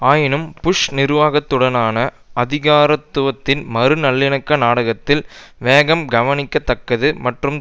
ஆயினும் புஷ் நிர்வாகத்துடனான அதிகாரத்துவத்தின் மறு நல்லிணக்க நாட்டத்தில் வேகம் கவனிக்க தக்கது மற்றும்